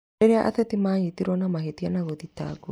Rĩrĩa ateti manyĩtĩrwo na mahĩtia na gũthitangwo